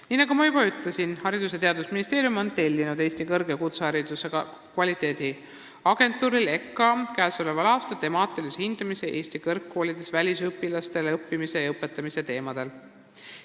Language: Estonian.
" Nii nagu ma juba ütlesin, Haridus- ja Teadusministeerium on tellinud Eesti Kõrg- ja Kutsehariduse Kvaliteediagentuurilt ehk EKKA-lt käesoleval aastal temaatilise hindamise Eesti kõrgkoolides välisüliõpilaste õppimise ja nende õpetamise teemadel.